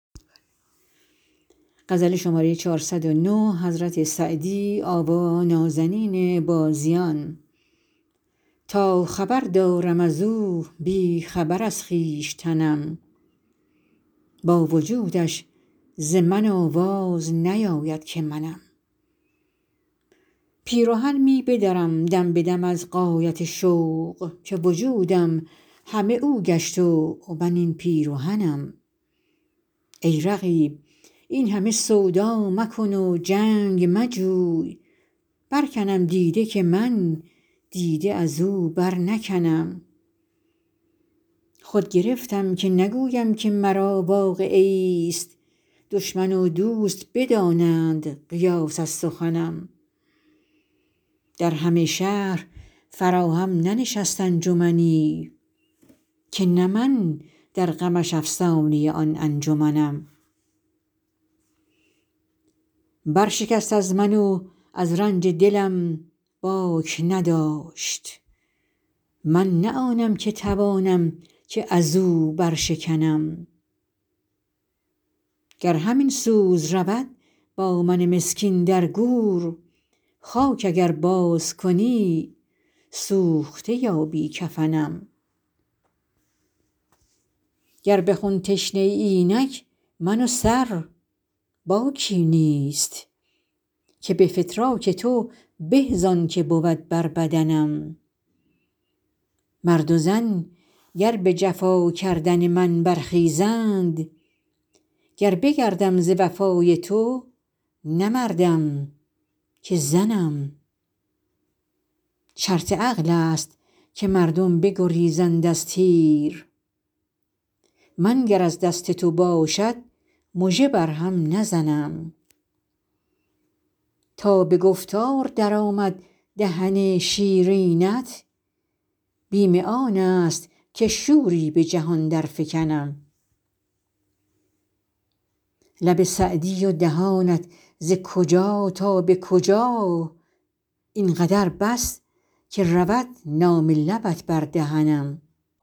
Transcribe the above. تا خبر دارم از او بی خبر از خویشتنم با وجودش ز من آواز نیاید که منم پیرهن می بدرم دم به دم از غایت شوق که وجودم همه او گشت و من این پیرهنم ای رقیب این همه سودا مکن و جنگ مجوی برکنم دیده که من دیده از او برنکنم خود گرفتم که نگویم که مرا واقعه ایست دشمن و دوست بدانند قیاس از سخنم در همه شهر فراهم ننشست انجمنی که نه من در غمش افسانه آن انجمنم برشکست از من و از رنج دلم باک نداشت من نه آنم که توانم که از او برشکنم گر همین سوز رود با من مسکین در گور خاک اگر بازکنی سوخته یابی کفنم گر به خون تشنه ای اینک من و سر باکی نیست که به فتراک تو به زان که بود بر بدنم مرد و زن گر به جفا کردن من برخیزند گر بگردم ز وفای تو نه مردم که زنم شرط عقل است که مردم بگریزند از تیر من گر از دست تو باشد مژه بر هم نزنم تا به گفتار درآمد دهن شیرینت بیم آن است که شوری به جهان درفکنم لب سعدی و دهانت ز کجا تا به کجا این قدر بس که رود نام لبت بر دهنم